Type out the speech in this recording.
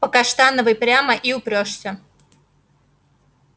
по каштановой прямо и упрёшься